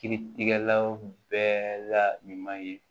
Kiritigɛlaw bɛɛ la ɲuman ye